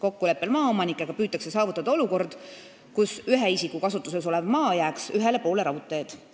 Kokkuleppel maaomanikega püütakse saavutada olukord, kus ühe isiku kasutuses olev maa jääks ühele poole raudteed.